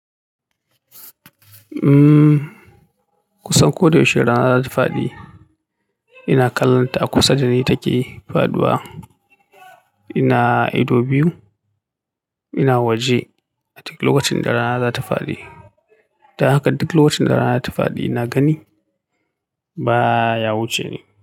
Umm, kusan ko da yaushe rana za ta faɗi. Ina kallonta a kusa da ni take faɗuwa. Ina ido biyu, ina waje a duk lokacin da rana za ta faɗi. Idan haka duk lokacin da rana ta fadi na gani ba ya wuce ni.